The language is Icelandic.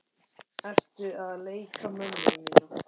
Ertu að leika mömmu mína?